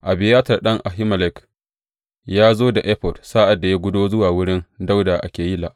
Abiyatar ɗan Ahimelek ya zo da efod sa’ad da ya gudo zuwa wurin Dawuda a Keyila.